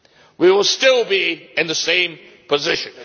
We will still be in the same position.